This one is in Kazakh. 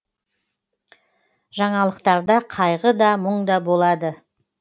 жаңалықтарда қайғы да мұң да болады